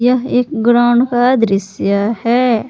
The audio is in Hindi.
यह एक ग्राउंड का दृश्य है।